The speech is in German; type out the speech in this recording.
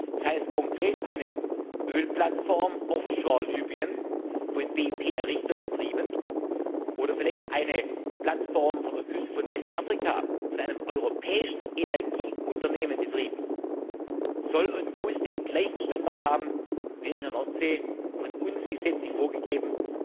Das heißt konkret, eine Ölplattform off shore von Libyen, von BP errichtet und betrieben, oder vielleicht eine Plattform vor der Küste Westafrikas, von einem europäischen Energieunternehmen betrieben, soll und muss den gleichen Standard haben, wie es an der Nordsee von uns gesetzlich vorgegeben